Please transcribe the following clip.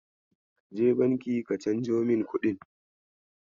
Kaje Banki ka canjo min kuɗin?